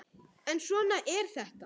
En svona er þetta.